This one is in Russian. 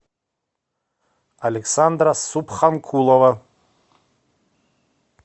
александра субханкулова